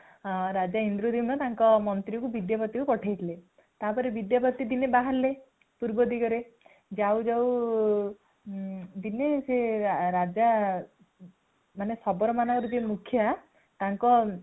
ରାଜା ଇନ୍ଦ୍ରଦୁମ୍ନ ତାଙ୍କର ମନ୍ତ୍ରୀଙ୍କୁ ବିଦ୍ୟାପତିଙ୍କୁ ପଠାଇଥିଲେ ତାପରେ ବିଦ୍ୟାପତି ଦିନେ ବାହାରିଲେ ପୂର୍ବ ଦିଗରେ |ଯାଉ ଯାଉ ଦିନେ ସେ ରାଜା ମାନେ ଶବର ମାନଙ୍କର ଯିଏ ମୁଖିଆ ତାଙ୍କ